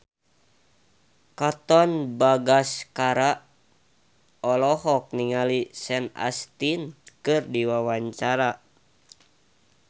Katon Bagaskara olohok ningali Sean Astin keur diwawancara